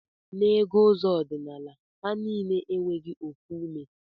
Na ego ụzọ ọdinala ha nile enweghi ofu ume